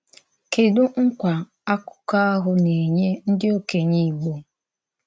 Kèdù nkwa àkụ́kọ̀ ahụ na-ènye ndí òkènye Ìgbò?